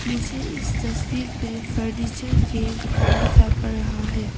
मुझे इस तस्वीर पे फर्नीचर के दुकान दिखाई पड़ रहा है।